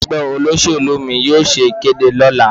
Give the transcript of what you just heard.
Ẹgbẹ́ olóṣèlú mi yóò ṣe ìkéde lọ́la.